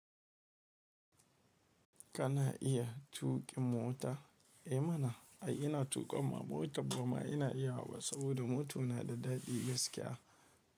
Kana iya tuƙin mota? Eh mana ai ina tuƙa ma mota ba ma ina iyawa saboda motan na da daɗi gaskiya.